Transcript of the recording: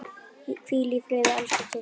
Hvíl í friði, elsku Kittý.